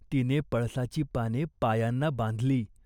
पूर्वी, शिव्याशाप, आता अबोला. परंतु करुणेला आता सर्व सवय झाली होती.